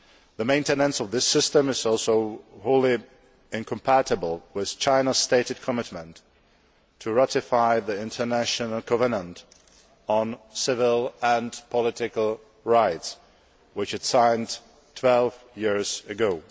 The maintenance of this system is also wholly incompatible with China's stated commitment to ratify the International Covenant on Civil and Political Rights, which it signed twelve years ago.